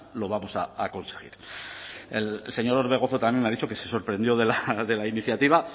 lo vamos a conseguir el señor orbegozo también me ha dicho que se sorprendió de la iniciativa